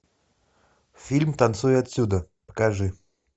фильм танцуй отсюда покажи